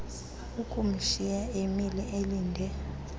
ukumshiya emile elinde